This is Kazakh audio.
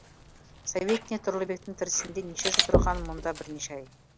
советник тұрлыбектің тірісінде неше жыл тұрған мұнда бірнеше ай